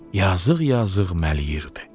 Yazıq-yazıq mələyirdi.